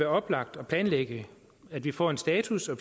oplagt at planlægge at vi får en status og